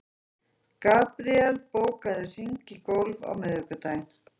Gabríel, bókaðu hring í golf á miðvikudaginn.